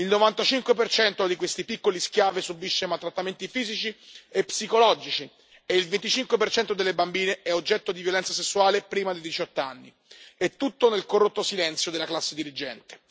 Il 95 di questi piccoli schiavi subisce maltrattamenti fisici e psicologici e il 25 delle bambine è oggetto di violenza sessuale prima dei 18 anni, e tutto nel corrotto silenzio della classe dirigente.